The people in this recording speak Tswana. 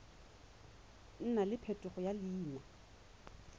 nna le phetogo ya leina